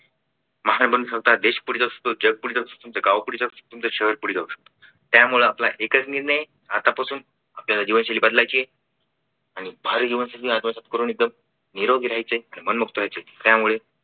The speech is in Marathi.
देश पुढे जाऊ शकत तुमचं जग पुढे जाऊ शकत त्यामुळं आपला एकच निर्णय आतापासून आपल्याला जीवनशैली बदलायचे आणि भारी जीवनशैली आत्मसात करून एकदम निरोगी रहायचे आणि मनमुक्त व्हायचंय त्यामुळे